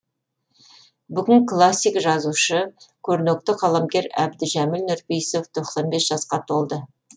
бүгін классик жазушы көрнекті қаламгер әбдіжәміл нұрпейісов тоқсан бес жасқа толды